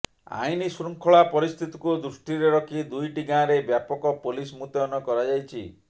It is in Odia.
ଆଇନ ଶୃଙ୍ଖଳା ପରିସ୍ଥିତିକୁ ଦୃଷ୍ଟିରେ ରଖି ଦୁଇଟି ଗାଁରେ ବ୍ୟାପକ ପୋଲିସ ମୁତୟନ କରାଯାଇଛି